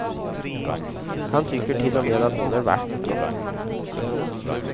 Han tycker till och med att hon är vacker.